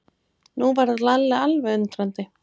Nú varð Lalli alveg undrandi.